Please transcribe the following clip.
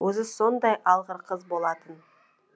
өзі сондай алғыр қыз болатын